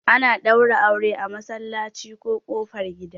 ana daura aure a masallaci ko kofar gida